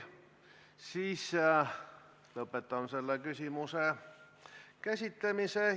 Siis lõpetan selle küsimuse käsitlemise.